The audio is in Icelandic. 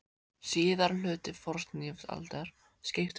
Síðari hluti fornlífsaldar skiptist í tímabilin kol og perm.